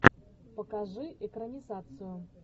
покажи экранизацию